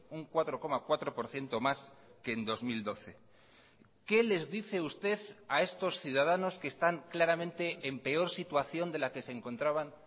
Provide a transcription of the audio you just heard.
un cuatro coma cuatro por ciento más que en dos mil doce qué les dice usted a estos ciudadanos que están claramente en peor situación de la que se encontraban